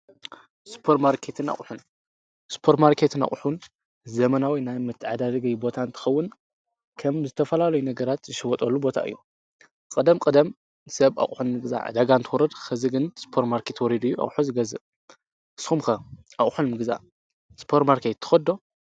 ስጶር ማርከትን ኣቕሑን ስጶር ማርከት ን ኣቝሑን ዘመናዊይ ናይ ምትዕዳርጊይ ቦታን ትኸውን ከም ዝተፈላሉይ ነገራት ዝሸወጦሉ ቦታ እዩ ቅደም ቅደም ሰብ ኣቝሕን ግዛ ደጋን ትወርድ ኽዚ ግን ስጶር ማርከት ወሪዱዩ ኣቝሖ ዝገዝእ ስኹምከ ኣቝሕንምግዛ ስጶር ማርከት ተኸዶ